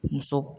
Muso